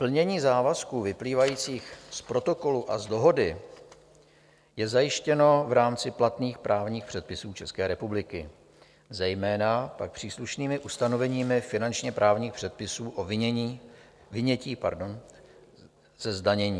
Plnění závazků vyplývajících z Protokolu a z Dohody je zajištěno v rámci platných právních předpisů České republiky, zejména pak příslušnými ustanoveními finančně právních předpisů o vynětí ze zdanění.